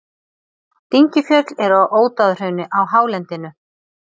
Dyngjufjöll eru í Ódáðahrauni á hálendinu.